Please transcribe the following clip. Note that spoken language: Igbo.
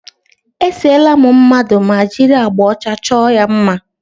E seela m mmadụ ma jiri agbà ọcha chọọ ya mma.